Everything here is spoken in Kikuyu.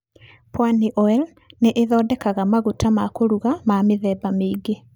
Pwani Oil nĩ ĩthondekaga maguta ma kũruga ma mĩthemba mĩingĩ.